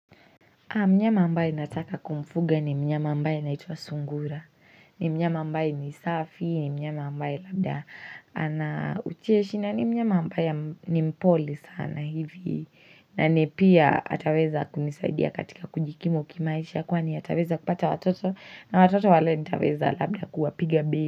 Mnyama ambaye nataka kumfuga ni mnyama ambaye anaitwa sungura. Ni mnyama ambaye ni safi, ni mnyama ambaye labda anaucheshi. Na ni mnyama ambaye ni mpole sana hivi. Na ni pia ataweza kunisaidia katika kujikimu kimaisha. Kwani ataweza kupata watoto. Na watoto wale nitaweza labda kuwapiga bei.